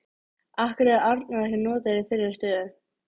Af hverju er Arnór ekki notaður í þeirri stöðu?